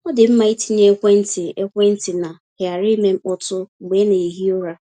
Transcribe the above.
Ọ dị mma ịtinye ekwentị ekwentị na ‘ghara ime mkpọtụ’ mgbe ị na-ehi ụra.